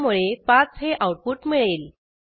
त्यामुळे 5 हे आऊटपुट मिळेल